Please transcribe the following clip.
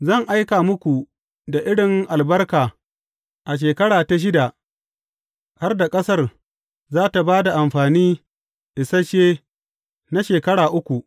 Zan aika muku da irin albarka a shekara ta shida har da ƙasar za tă ba da amfani isashe na shekara uku.